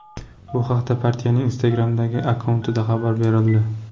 Bu haqda partiyaning Instagram’dagi akkauntida xabar berildi .